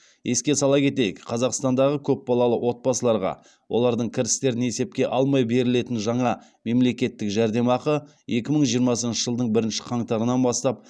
еске сала кетейік қазақстандағы көпбалалы отбасыларға олардың кірістерін есепке алмай берілетін жаңа мемлекеттік жәрдемақы екі мың жиырмасыншы жылдың бірінші қаңтарынан бастап